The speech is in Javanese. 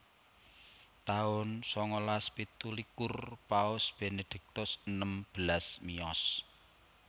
taun sangalas pitulikur Paus Benediktus enem belas miyos